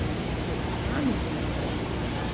Til hamingju meistari!